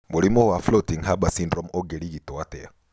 Mũrimũ wa Floating Harbor syndrome ũngĩrigitwo atĩa?